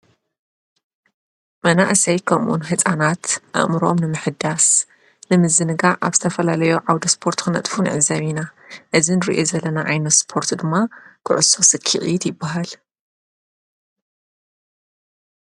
መናእሰይ ከምኡ ውን ህፃናት አእምሮአም ንምሕዳስ ንምዝንጋዕ አብ ዝተፈላለዩ ዓወደ ስፓርት ክነጥፉ ንዕዘብ ኢና። እዚ እንሪኦ ዘለና ዓይነት ስፓርት ድማ ኩዕሶ ስኪዕት ይበሃል፡፡